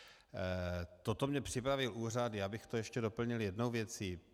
Toto mi připravil úřad, já bych to ještě doplnil jednou věcí.